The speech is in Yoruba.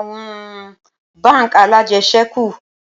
Awọn bánk alájẹsẹ́kù